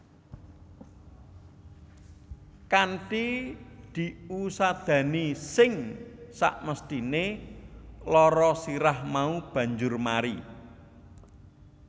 Kanthi diusadani sing samesthine lara sirah mau banjur mari